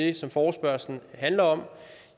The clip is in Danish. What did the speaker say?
det som forespørgslen handler om